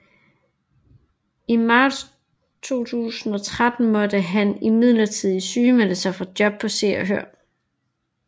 I marts 2013 måtte han imidlertid sygemelde sig fra jobbet på Se og Hør